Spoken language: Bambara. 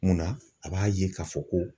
Munna a b'a ye k'a fɔ ko